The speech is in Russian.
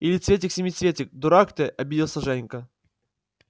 или цветик-семицветик дурак ты обиделся женька